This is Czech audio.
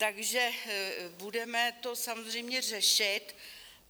Takže to budeme samozřejmě řešit.